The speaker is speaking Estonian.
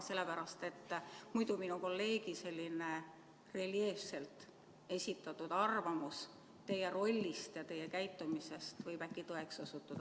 Sellepärast, et muidu minu kolleegi selline reljeefselt esitatud arvamus teie rollist ja teie käitumisest võib äkki tõeks osutuda.